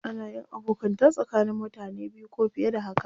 Ana yin abokanta tsakanin mutane biyu ko fiye da haka.